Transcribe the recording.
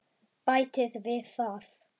Bæta við það.